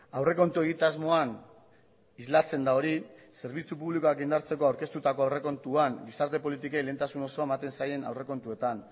aurrekontu egitasmoan islatzen da hori zerbitzu publikoak indartzeko aurkeztutako aurrekontuan gizarte politikei lehentasun osoa ematen zaien aurrekontuetan